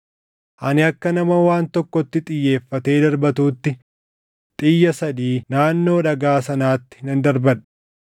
Ani akka nama waan tokkotti xiyyeeffatee darbatuutti xiyya sadii naannoo dhagaa sanaatti nan darbadha.